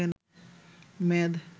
মেদ